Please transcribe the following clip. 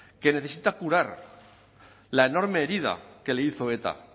que necesita curar la enorme herida que le hizo eta